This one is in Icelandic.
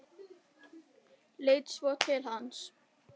Leit svo til hans.